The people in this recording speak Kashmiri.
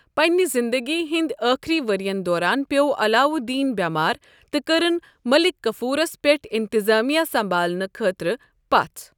پننہِ زندگی ہنٛدِ آخری ورٮ۪ن دوران پیٚو علاؤالدین بیمار تہٕ کٔرٕن مٔلِک کَفورس پٮ۪ٹھ اِنتِظامِیہ سَمبالنہٕ خٲطرٕ پژھ۔